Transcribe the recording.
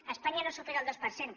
a espanya no supera el dos per cent